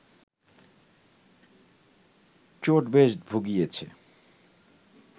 চোট বেশ ভুগিয়েছে